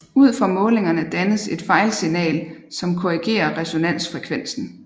Ud fra målingerne dannes et fejlsignal som korrigerer resonansfrevensen